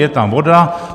Je tam voda.